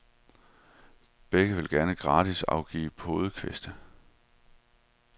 Begge vil gerne gratis afgive podekviste.